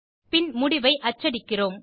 பின் முடிவை அச்சடிக்கிறோம்